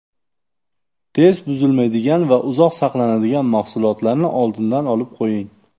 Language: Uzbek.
Tez buzilmaydigan va uzoq saqlanadigan mahsulotlarni oldindan olib qo‘ying.